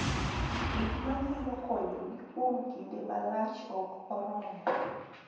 Gik ma nyalo konyogi kuom kinde malach ok oromo.